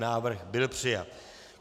Návrh byl přijat.